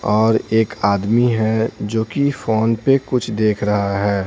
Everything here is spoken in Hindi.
और एक आदमी है जो कि फोन पे कुछ देख रहा है।